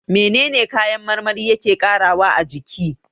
Menene kayan marmari yake ƙarawa a jiki?